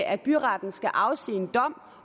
at byretten skal afsige en dom